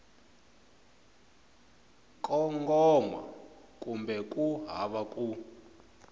kongoma kumbe ku hava ku